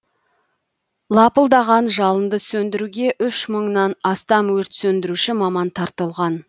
лапылдаған жалынды сөндіруге үш мыңнан астам өрт сөндіруші маман тартылған